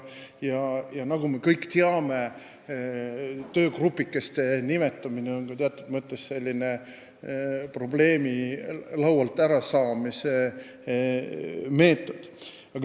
Nagu me kõik teame, on töögrupikeste nimetamine teatud mõttes ka probleemi laualt ärasaamise meetod.